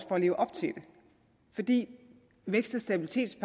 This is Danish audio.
for at leve op til det fordi stabilitets og